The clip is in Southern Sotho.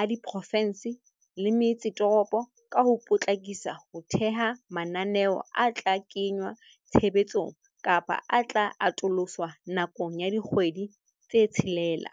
a diprofe nse le metse toropo ka ho po tlakisa ho theha mananeo a tla kengwa tshebetsong kapa a tla atoloswa nakong ya dikgwedi tse tshelela.